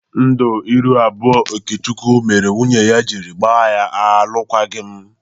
Ndu iru abụọ Okechukwu mere nwunye ya jiri gba ya alụKwaghị m.